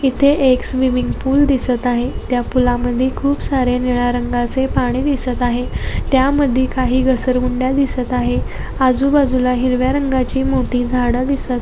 एक swimming pool दिसत आहे त्या पूलामध्ये खूप सारे निळ्या रंगाचे पाणी दिसत आहे त्यामध्ये काही घसरगुंड्या दिसत आहे आजूबाजूला हिरव्या रंगाची मोठी झाडं दिसत आहे.